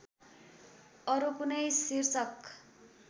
अरू कुनै शीर्षक